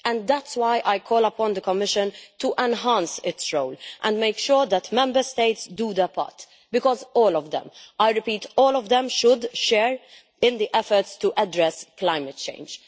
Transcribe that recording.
That is why I call upon the Commission to enhance its role and make sure that Member States play their part because all of them I repeat, all of them should share in the efforts to address climate change.